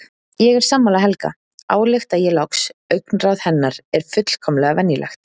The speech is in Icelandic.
Ég er sammála Helga, álykta ég loks, augnaráð hennar er fullkomlega venjulegt.